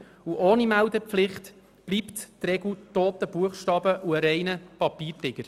Denn ohne Meldepflicht bleibt diese Regel toter Buchstabe und ein reiner Papiertiger.